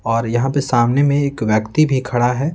और सामने में यहां एक व्यक्ति भी खड़ा है--